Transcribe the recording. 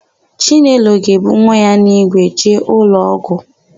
Chinelo ga-ebu nwa ya n'ígwe jee ụlọọgwụ.